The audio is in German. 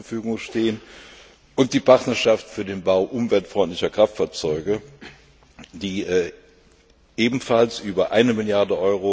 Euro zur Verfügung stehen, und die Partnerschaft für den Bau umweltfreundlicher Kraftfahrzeuge, die ebenfalls über 1 Mrd.